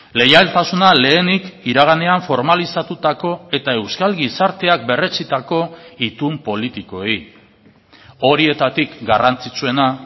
leialtasuna lehenik iraganean formalizatutako eta euskal gizarteak berretsitako itun politikoei horietatik garrantzitsuena